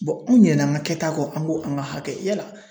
anw ɲinɛnna an ka kɛta kɔ an ko an ka hakɛ yala